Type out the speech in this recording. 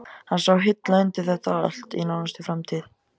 Hann sá hilla undir þetta allt í nánustu framtíð.